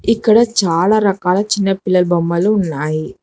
ఇక్కడ చాలా రకాల చిన్న పిల్లలు బొమ్మలు ఉన్నాయి.